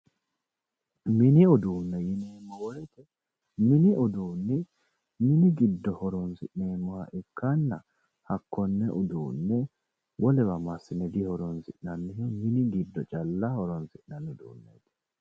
Mini uduunni mini giddo horoonsi'neemmoha ikkanna hakkonne konne uduunne wolewa massine dihoroonsi'nanniho mini giddo calla horoonsi'nanni uduunneeti